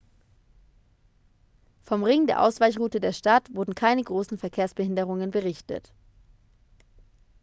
vom ring der ausweichroute der stadt wurden keine großen verkehrsbehinderungen berichtet